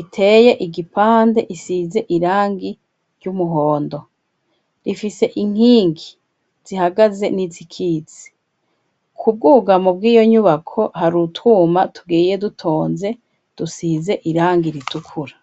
iteye igipande, isize irangi ry'umuhondo, ifise inkingi zihagaze nizikitse, ku bwugamo bwiyo nyubako hari utwuma tugiye dutonze dusize irangi ritukura.